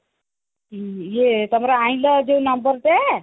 ହୁଁ ହୁଁ ତମର ଆଈଲ ଯୋଉ number ଟା